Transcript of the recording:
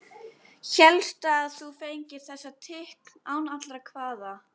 Hélstu að þú fengir þessa tign án allra kvaða?